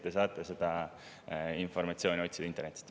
Te saate seda informatsiooni otsida internetist.